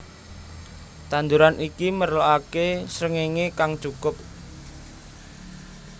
Tanduran iki merlokake srengenge kang cukup